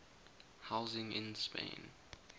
housing in spain